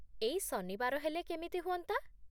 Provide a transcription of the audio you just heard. ଏଇ ଶନିବାର ହେଲେ କେମିତି ହୁଅନ୍ତା?